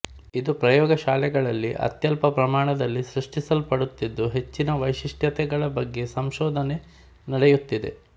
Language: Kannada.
ಇದು ಪ್ರಯೋಗ ಶಾಲೆಗಳಲ್ಲಿ ಅತ್ಯಲ್ಪ ಪ್ರಮಾಣದಲ್ಲಿ ಸೃಷ್ಟಿಸಲ್ಪಡುತ್ತಿದ್ದು ಹೆಚ್ಚಿನ ವೈಶಿಷ್ಟ್ಯತೆಗಳ ಬಗ್ಗೆ ಸಂಶೋಧನೆ ನಡೆಯುತ್ತಿದೆ